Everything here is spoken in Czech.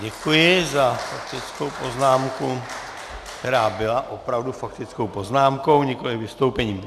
Děkuji za faktickou poznámku, která byla opravdu faktickou poznámkou, nikoliv vystoupením.